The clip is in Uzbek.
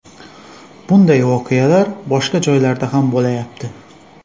Bunday voqealar boshqa joylarda ham bo‘lyapti.